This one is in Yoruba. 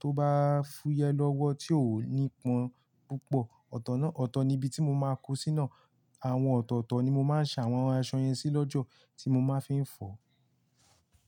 tó bá fúyẹ́ lọ́wọ́ tí ó ò ní ipọ́n púpọ̀, ọ̀tọ̀ náà, ọ̀tọ̀ ni ibi tí mo máa kó sí ná. Àwọn ọ̀tọ̀ọ̀tọ̀ ni mo máa ń sa àwọn aṣọ yẹn sí lójú tí mo máa ń fi ń fọ.